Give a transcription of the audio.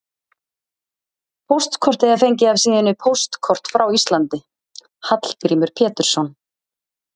Póstkortið er fengið af síðunni Póstkort frá Íslandi: Hallgrímur Pétursson.